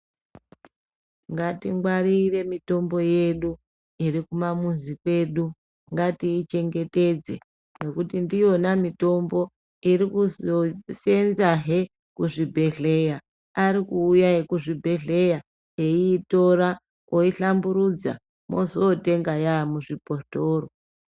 Ngatingwarire mitombo yedu iri kumamuzi kwedu, ngatiichengetedze ngekuti ndiyona mitombo iri kuzoseenzahe kuzvibhedhleya, ari kuuya ekuzvibhehleya eiitora, oihlamburudza ozotenga yaa muzvibhotoro.